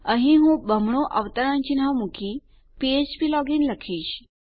અહીં હું બમણું અવતરણ ચિન્હ મુકી ફ્પ્લોજિન લખીશ